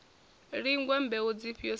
lingwa mbeu dzifhio sa izwo